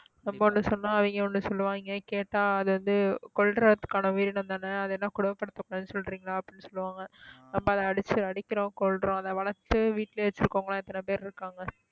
நம்ம ஒண்ணு சொன்னோம் அவங்க ஒண்ணு சொல்லுவாங்க கேட்டா அது வந்து கொல்றதுக்கான உயிரினம்தானே அது என்ன கொடுமைப்படுத்தக்கூடாதுன்னு சொல்றீங்களா அப்படின்னு சொல்லுவாங்க நம்ம அதை அடிச்சு அடிக்கிறோம் கொல்றோம் அதை வளர்த்து வீட்டிலேயே வச்சிருக்கிறவங்க எல்லாம் எத்தனை பேர் இருக்காங்க